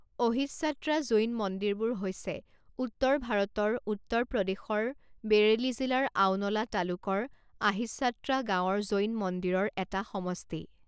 অহিচ্ছাত্ৰা জৈন মন্দিৰবোৰ হৈছে উত্তৰ ভাৰতৰ উত্তৰ প্ৰদেশৰ বেৰেলী জিলাৰ আওনলা তালুকৰ আহিচ্ছাত্ৰা গাঁৱৰ জৈন মন্দিৰৰ এটা সমষ্টি।